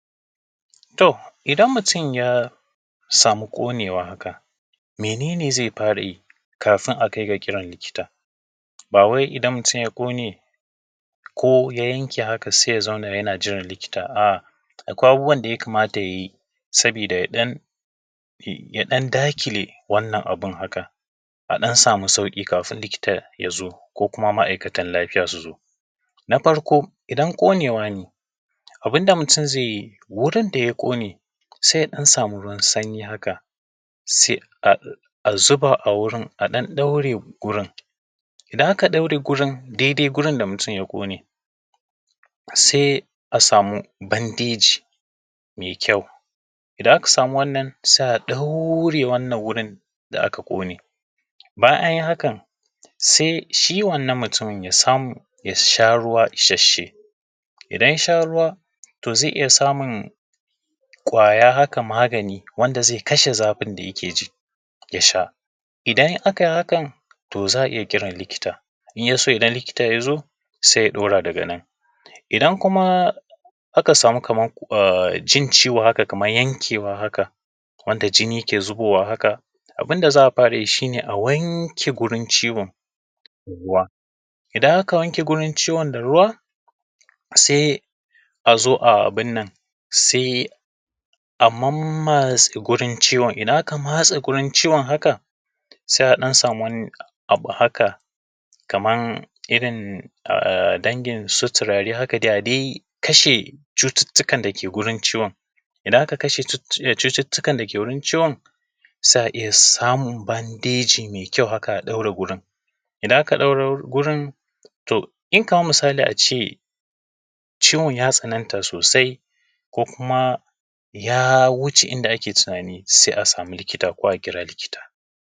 To idan mutum ya samu ƙonewa haka mene ne zai fara yi kafin a kai ga kiran likita. Ba wai idan mutum ya ƙone ko ya yanke haka sai ya zauna yana jiran likita a’a akwai abubuwan da ya kamata ya yi saboda ya ɗan daƙile wannan abun haka a ɗan samu sauƙi kafin likita ya zo, ko kuma ma’aikatan lafiya su zo. Na farko idan ƙonewa ne, abun da mutum zai yi wurin da ya ƙone sai ya ɗan samu ruwan sanyi haka sai a zuba a wurin a ɗan ɗaure wurin. Idan aka ɗaure dai dai wurin da mutum ya ƙone, sai a samu bandeji mai kyau, idan aka samu wanna sai a ɗaure wannan wurin da aka ƙone. Bayan an yi haka sai shi wannan mutumin ya samu ya sha ruwa ishashshe, idan ya sha ruwa to zai iya samun ƙwaya haka magani wanda zai kasha zafin da yake ji ya sha. Idan aka yi hakan to za a iya kiran likita, in ya so idan likita ya zo sai ya ɗaura daga nan. Idan kuma aka samu jin ciwo haka kana yankewa haka, wanda ke zubowa haka. Abun da za a fara yi shi ne a wanke gurin ciwon da ruwa, idan aka wanke wurin ciwon da ruwa, sai a zo a mammatse wurin ciwon. Idan aka matsae wurin ciwon haka, sai a ɗan samu wani abu haka, kamar irin dangin su turare haka dai, a dai kashe cututtukan dake gurin ciwon. Idan aka kasha cututtukan dake wurin ciwon, sai a iya samun bandeji mai kyau haka a ɗaure wurin. Idan aka ɗaure wurin, to in kamar misali a ce ciwon ya tsananta sosai, ko kuma ya wuce yanda ake tunani, sai a samu likita ko a kira likita.